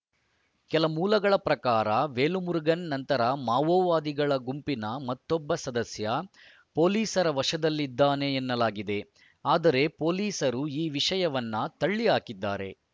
ಕೆಲ ಮೂಲಗಳ ಪ್ರಕಾರ ವೇಲುಮುರುಗನ್ ನಂತರ ಮಾವೋವಾದಿಗಳ ಗುಂಪಿನ ಮತ್ತೊಬ್ಬ ಸದಸ್ಯ ಪೊಲೀಸರ ವಶದಲ್ಲಿ ಇದ್ದಾನೆ ಎನ್ನಲಾಗಿದೆ ಆದರೆ ಪೊಲೀಸರು ಈ ವಿಷಯವನ್ನು ತಳ್ಳಿಹಾಕಿದ್ದಾರೆ